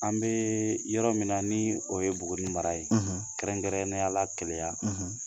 An bɛ yɔrɔ min ni o ye BUGUNI mara ye kɛrɛnkɛrɛnneyala kɛlɛya